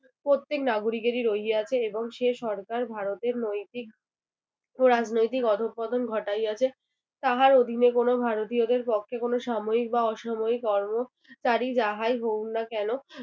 প্রত্যেক নাগরিকেরই রইয়াছে এবং সে সরকার ভারতের নৈতিক ও রাজনৈতিক অধঃপতন ঘটাইয়াছে তাহার অধীনে ভারতীয়দের কোন সাময়িক বা অসামরিক কর্ম তা যাহাই হোক না কেনো